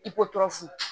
I ko tɔɔrɔsi